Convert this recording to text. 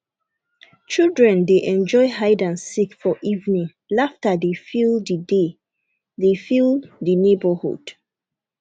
children dey enjoy hide and seek for evening laughter dey fill the dey fill the neighborhood